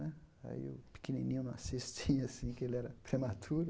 Né aí o pequenininho não assistia, assim, porque ele era prematuro.